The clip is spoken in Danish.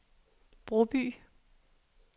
Broby